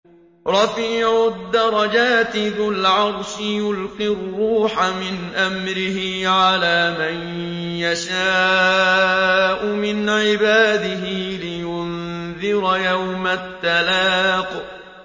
رَفِيعُ الدَّرَجَاتِ ذُو الْعَرْشِ يُلْقِي الرُّوحَ مِنْ أَمْرِهِ عَلَىٰ مَن يَشَاءُ مِنْ عِبَادِهِ لِيُنذِرَ يَوْمَ التَّلَاقِ